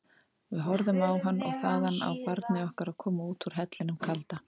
Við horfðum á hann og þaðan á barnið okkar koma út úr hellinum kalda.